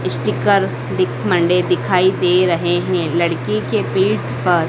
sticker दिख बने दिखाई दे रहे हैं लड़की के पीठ पर--